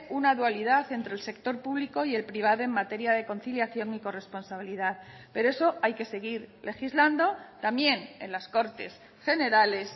una dualidad entre el sector público y el privado en materia de conciliación y corresponsabilidad pero eso hay que seguir legislando también en las cortes generales